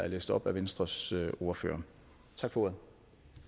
læst op af venstres ordfører tak for